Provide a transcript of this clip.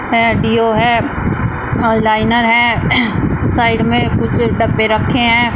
अह deo है और liner है साइड में कुछ डब्बे रखे हैं।